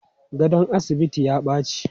Gadon asibitin ya baci.